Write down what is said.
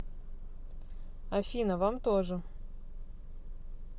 афина вам тоже